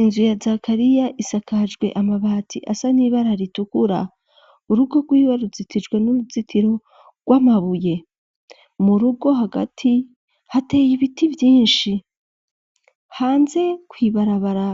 Inzu ya Zakariya isakajwe amabati asa n'ibara ritukura urugo rwiwe ruzitijwe n'uruzitiro rw'amabuye mu rugo hagati hateye ibiti vyinshi hanze kw'ibarabara